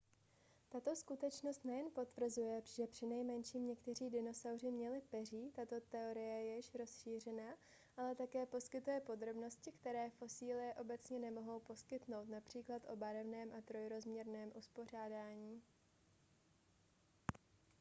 tato skutečnost nejen potvrzuje že přinejmenším někteří dinosauři měli peří tato teorie je již rozšířená ale také poskytuje podrobnosti které fosílie obecně nemohou poskytnout například o barevném a trojrozměrném uspořádání